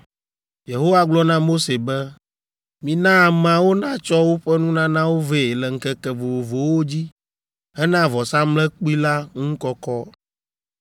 Yehowa gblɔ na Mose be, “Mina ameawo natsɔ woƒe nunanawo vɛ le ŋkeke vovovowo dzi hena vɔsamlekpui la ŋu kɔkɔ.”